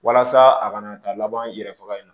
Walasa a kana taa laban yɛrɛ faga in na